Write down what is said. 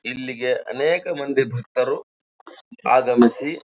ಇಲ್ಲಿಗೆ ಅನೇಕ ಮಂದಿ ಭಕ್ತರು ಆಗಮಿಸಿ--